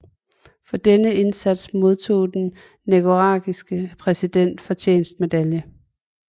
For denne indsats modtog den nicaraguanske præsidents fortjenstmedalje